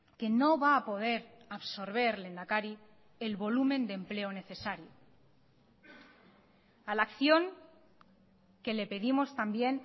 que no va a poder absorber lehendakari el volumen de empleo necesario a la acción que le pedimos también